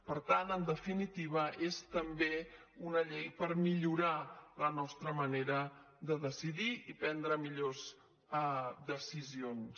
per tant en definitiva és també una llei per millorar la nostra manera de decidir i prendre millors decisions